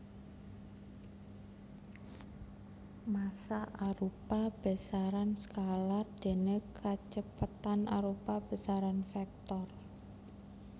Massa arupa besaran skalar déné kacepetan arupa besaran vektor